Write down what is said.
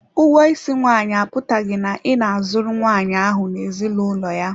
Ụgwọ isi nwaanyị apụtaghị na ị na-azụrụ nwaanyị ahụ n'ezinụlọ ya.